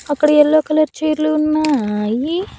అక్కడ yellow colour చైర్లు ఉన్నాయి.